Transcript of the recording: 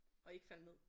Og ikke falde ned